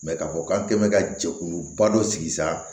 k'a fɔ k'an tɛ ka jɛkuluba dɔ sigi sa